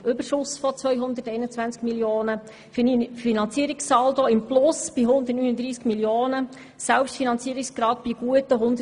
Wir haben einen Überschuss von 221 Mio. Franken, einen positiven Finanzierungssaldo von 339 Mio. Franken und einen Selbstfinanzierungsgrad von gut 132 Prozent.